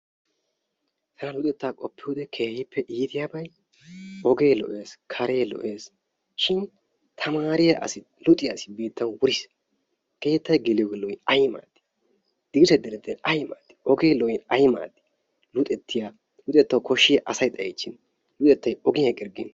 Tana luxettaa qoppiyode keehippe iitiyabay ogee lo'ees, karee lo'ees shin tamaariya asi luxiya asi biittan wuris. keettay geliyogee lo"in ayi maaaddii? Dirssay direttin ay maaddi? Ogee lo"in ay maaddi luxettawu koshshiya asay xayiichchin luxettay ogiyan eqqirggin.